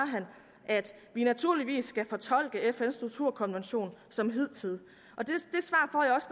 at vi naturligvis skal fortolke fns torturkonvention som hidtil